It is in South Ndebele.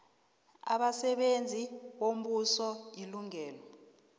abasebenzi bombuso ilungelo